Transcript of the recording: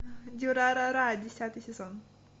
дюрарара десятый сезон